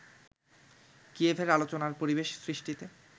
কিয়েভের আলোচনার পরিবেশ সৃষ্টিতে